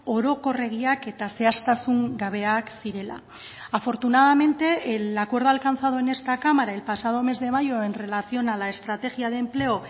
orokorregiak eta zehaztasun gabeak zirela afortunadamente el acuerdo alcanzado en esta cámara el pasado mes de mayo en relación a la estrategia de empleo